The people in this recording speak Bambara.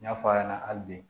N y'a fɔ a ɲɛna hali bi